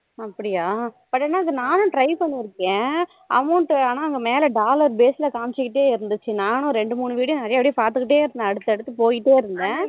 அப்படியா but என்னது நானும் try பன்னிருக்கேன் amount ஆனா மேல dollar base ல காமிச்சிடே இருந்துச்சி நானும் இரண்டு மூணு video நிறைய நிறைய பாத்துட்டே இருந்தேன் அடுத்து அடுத்து போய்டே இருந்தேன்